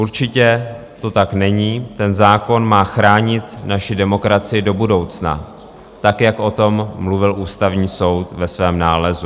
Určitě to tak není, ten zákon má chránit naši demokracii do budoucna, tak jak o tom mluvil Ústavní soud ve svém nálezu.